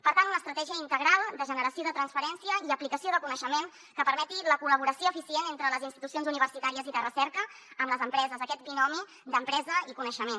per tant una estratègia integral de generació de transferència i aplicació de coneixement que permeti la col·laboració eficient entre les institucions universitàries i de recerca amb les empreses aquest binomi d’empresa i coneixement